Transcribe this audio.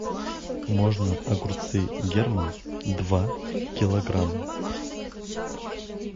можно огурцы герман два килограмма